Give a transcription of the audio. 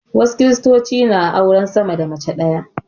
Wasu Kiristocin na auren sama da mace ɗaya.